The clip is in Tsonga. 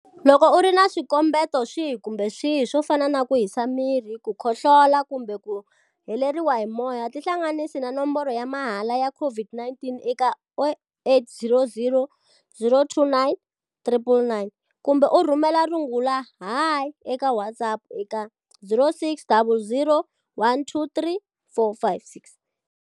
Loko u ri na swikombeto swihi kumbe swihi, swo fana na ku hisa miri, khohlola, kumbe ku heleriwa hi moya, tihlanganisi na nomboro ya mahala ya COVID-19 eka 0800 029 999 kumbe rhumela rungula Hi eka WhatsApp eka 0600 123 456.